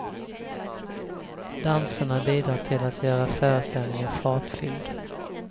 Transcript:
Danserna bidrar till att göra föreställningen fartfylld.